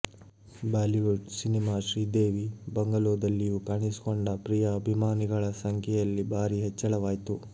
Bollywood cinema Sridevi ಬಂಗಲೋದಲ್ಲಿಯೂ ಕಾಣಿಸಿಕೊಂಡ ಪ್ರಿಯಾ ಅಭಿಮಾನಿಗಳ ಸಂಖ್ಯೆಯಲ್ಲಿ ಭಾರೀ ಹೆಚ್ಚಳವಾಯ್ತು